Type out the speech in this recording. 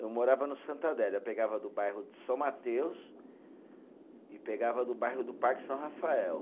Eu morava no Santa Adélia, pegava do bairro de São Mateus e pegava do bairro do Parque São Rafael.